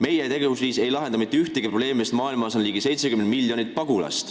Meie tegevus ei lahenda mitte ühtegi probleemi, sest maailmas on ligi 70 miljonit pagulast.